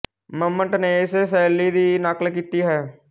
ਮੰਮਟ ਨੇ ਇਸੇ ਸ਼ੈਲੀ ਦੀ ਨਕਲ ਕੀਤੀ ਹੈ